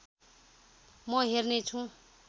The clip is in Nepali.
म हेर्ने छु